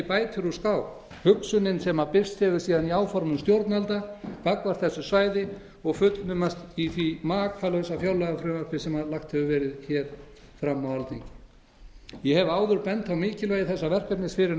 bætir úr skák hugsunin sem birst hefur síðan í áformum stjórnvalda gagnvart þessu svæði og fullnumast í því makalausa fjárlagafrumvarpi sem lagt hefur verið hér fram á alþingi ég hef áður bent á mikilvægi þessa verkefnis fyrir